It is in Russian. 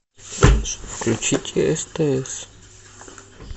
включите стс